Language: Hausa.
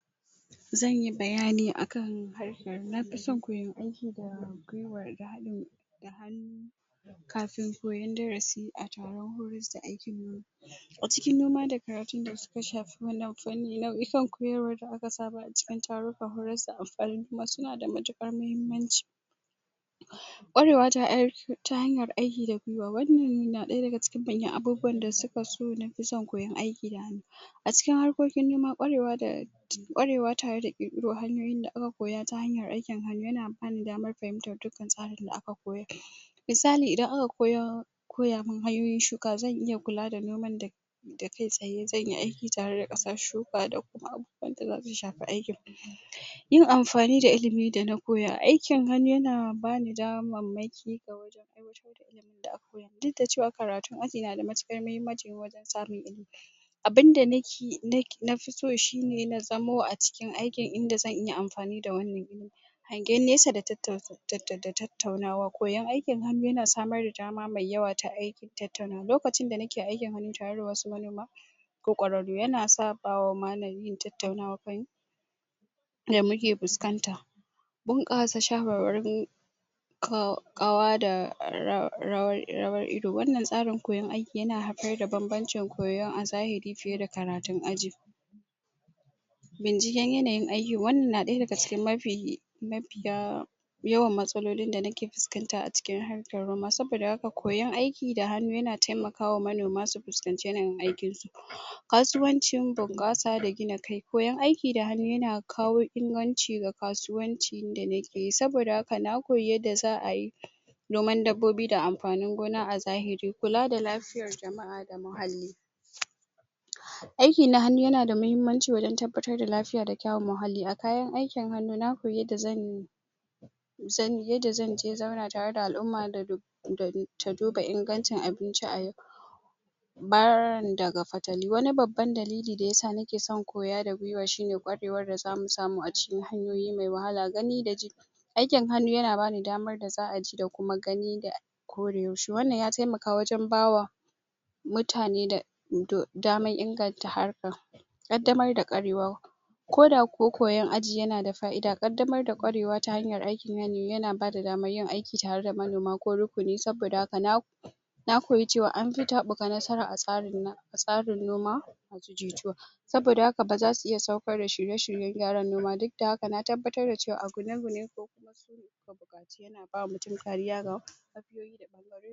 Zanyi bayani akan harkar nafison koyan aiki da gwiwa da haɗ in hannu kafin koyan darasi a taron horis da akeyi a cikin noma da karatu da suka shafi wannan fanni na san koyarwa da aka saba a cikin taron ta horis da amfanin ma sunada mutukar muhimmanci ƙwarewa ta hanyar aiki da gwiwa wannan na ɗaya daga cikin manyan abubuwan da suka so nafi son koyan aiki da a cikin harkokin noma, ƙwarewa da ƙwarewa tare da ƙirƙiro hanyoyin da aka koya ta hanyar aikin hannu, yana bani daman fahimtar dukan tsari da aka koyar misali idan aka koya koyamun hanyoin shuka, zan iya kula da noman da da kai tsaye zanyi aiki tare da ƙasar shuka da kuma abubuwan da zasu shafi aikin yin amfani da ilimin da na koya, aikin hannu yana bana damamanki a wajan aiwatar da ilimin da aka koyamun duk da cewa karatun aji nada mutukar muhimanci wajan samun ilimi abun da nafi so shine na zamo iacikin aikin inda zan iya amfani da wannan ilimin hangen nesa da da tattaunawa, koyan aikin hannu yana samar da dama mai yawwa ta aikin tattaunawa, lokacin da nake aikin hannu tare da wasu manoma ko ƙwararu yana sa bawama nayin tattaunawa da muke fuskanta bunƙasa shawarwaru kawa da rawar ido wannan tsarin koyan aiki yana haifar da bambanci koyo a zahiri fiye da karatun aji binciken yanayin aiki, wamman na ɗaya daga cikin mafi mafiya yawan matsalolin da nake fuskanta a cikin harkar noma, saboda haka koyan aiki da hannu yana taimakawa manoma su fuskanci yanayin aikinsu kasuwancin bunƙasa da gina kai, koyan aiki da hannu yana kawo inganci ga kasuwanci da nake yi saboda haka na koyi yada za'ayi noman dabbobi da amfanin gona a zahiri, kula da lafiyar jama'a da muhalli aikin hannu yanada muhimmanci wajan tabbatar da lafiya da kyawun muhalli, a kayan aikin hannu na koyi yanda zanyi zanyi yada zan zauna tare da al'umma da duba ingancin abinci a yau barin daga fatali wani babban dalili dayasa nake son koya da gwiwa shine ƙwarewar da zamu samu a cikin hanyoyi me wahala, gani da ji aikin hannu yana bani dammar da za'a ji da kuma gani da ƙwarewanshi wannan ya taimaka wajan ba mutane da da daman ingantar harkar kadamar da ƙwarewa koda kuwa koyon aji yanada fa'ida, kadamar da ƙwarewa ta hanyar aikin hannu yana bada daman yin aiki tare da manoma ko rukuni saboda haka na na koyi cewa anfi taɓuka nasara a tsarin noma saboda haka basu iya saukar da shirye-shiryen gyara noma, duk da haka na tabbatar da cewa, kokuma sune mabukaci yana ba mutum kariya ga lafiyoyi ga bangaran